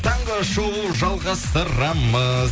таңғы шоу жалғастырамыз